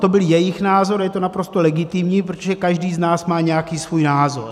To byl jejich názor a je to naprosto legitimní, protože každý z nás má nějaký svůj názor.